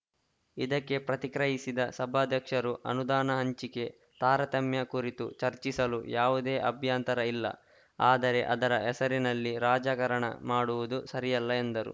ಇದಕ್ಕೆ ಪ್ರತಿಕ್ರಯಿಸಿದ ಸಭಾಧ್ಯಕ್ಷರು ಅನುದಾನ ಹಂಚಿಕೆ ತಾರತಮ್ಯ ಕುರಿತು ಚರ್ಚಿಸಲು ಯಾವುದೇ ಅಭ್ಯಂತರ ಇಲ್ಲ ಆದರೆ ಅದರ ಹೆಸರಿನಲ್ಲಿ ರಾಜಕರಣ ಮಾಡುವುದು ಸರಿಯಲ್ಲ ಎಂದರು